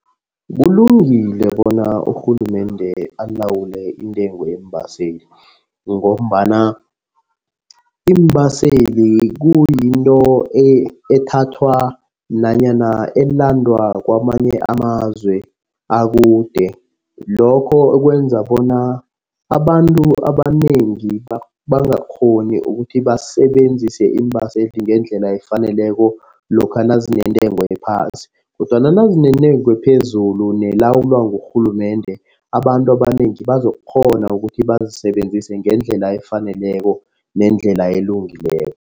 Kulungile bona urhulumende alawule intengo yeembaseli ngombana iimbaseli kuyinto ethathwa nanyana elandwa kwamanye amazwe akude. Lokho kwenza bona abantu abanengi bangakghoni ukuthi basebenzise iimbaseli ngendlela efaneleko lokha nazinentengo ephasi kodwana nazinentengo ephezulu, nelawulwa ngurhulumende. Abantu abanengi bazokukghona ukuthi bazisebenzise ngendlela efaneleko nendlela elungileko.